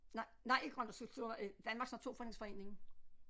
Nej nej ikke grønt cykeltur øh Danmarks Naturfredningsforening